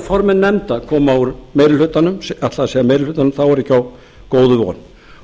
formenn nefnda koma úr meiri hlutanum þá er ekki á góðu von